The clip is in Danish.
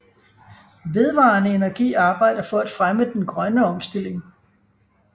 VedvarendeEnergi arbejder for at fremme den grønne omstilling